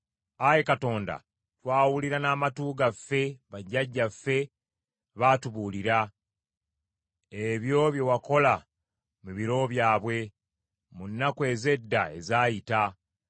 Ayi Katonda, twawulira n’amatu gaffe, bajjajjaffe baatubuulira, ebyo bye wakola mu biro byabwe, mu nnaku ez’edda ezaayita.